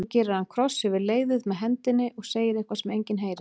Svo gerir hann kross yfir leiðið með hendinni og segir eitthvað sem enginn heyrir.